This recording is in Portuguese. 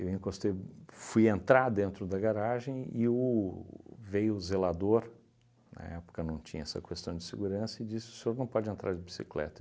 Eu encostei, fui entrar dentro da garagem e o veio o zelador, na época não tinha essa questão de segurança, e disse, o senhor não pode entrar de bicicleta.